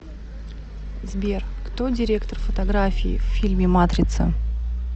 сбер кто директор фотографии в фильме матрица